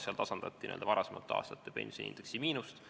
Seal tasandati n-ö varasemate aastate pensioniindeksi miinust.